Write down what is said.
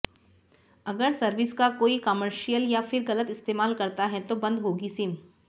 अगर सर्विस का कोई कॉमर्शियल या फिर गलत इस्तेमाल करता है तो बंद होगी सिम